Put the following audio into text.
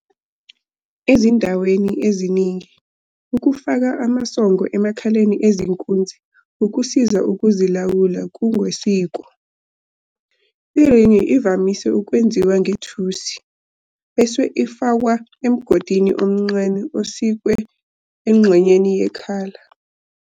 Ezindaweni eziningi, ukufaka amasongo emakhaleni ezinkunzi ukusiza ukuzilawula kungokwesiko. Iringi ivamise ukwenziwa ngethusi, bese ifakwa emgodini omncane osikwe engxenyeni yekhala.